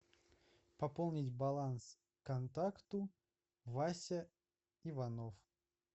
пополнить баланс контакту вася иванов